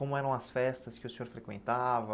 Como eram as festas que o senhor frequentava?